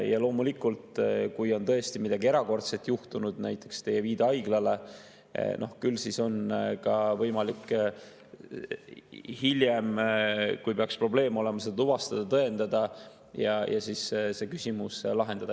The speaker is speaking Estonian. Ja loomulikult, kui on tõesti midagi erakordset juhtunud, näiteks teie viide haiglale, küll siis on ka võimalik hiljem, kui peaks probleem olema, seda tuvastada, tõendada ja see küsimus lahendada.